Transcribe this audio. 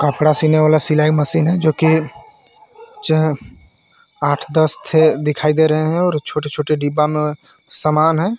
कपड़ा सीने वाला सिलाई मशीन है जो की छह आठ दस थे दिखाई दे रहे हैं और छोटे-छोटे डिब्बा में समान है.